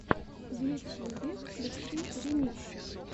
в ютьюбе включи ремиксы